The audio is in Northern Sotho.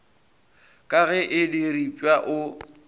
ka ge e diripwa o